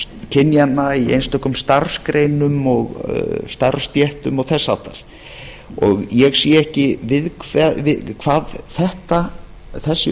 kynjanna í einstökum starfsgreinum og starfsstéttum og þess háttar ég sé ekki hverju þessi